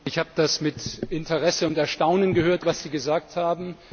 Ich habe mit Interesse und Erstaunen gehört, was Sie gesagt haben.